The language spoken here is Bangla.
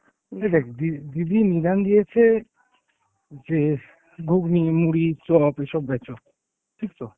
দেখ দি~ দিদি নিদান দিয়েছে যে ঘুগনি, মুড়ি, চপ এসব বেচো, ঠিক তো?